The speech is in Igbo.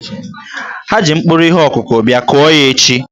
Ha ji mkpụrụ ihe ọkụkụ bia, kụọ ya echi!